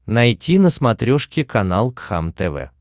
найти на смотрешке канал кхлм тв